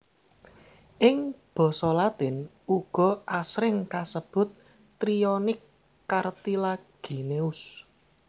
Ing basa latin uga asring kasebut Trionyx cartilagineus